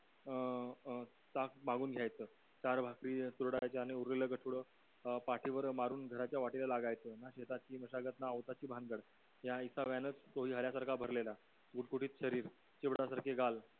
अं ताकमागून घ्यायचं चार भाकरी चुरडायच्या आणि उरलेल गठुड अं पाठीवर मारून घराच्या वाटेला लागायचं ना शेतातली मशागत ना औताची भानगड या विसाव्यानच तो हेल्यासारखा भरलेला गुडगुडीत शरीर चिवडा सारखे गाल